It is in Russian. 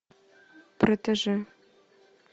протеже